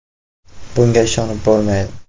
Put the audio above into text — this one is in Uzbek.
“Bunga ishonib bo‘lmaydi.